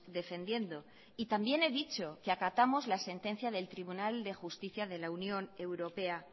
defendiendo y también he dicho que acatamos la sentencia del tribunal de justicia de la unión europea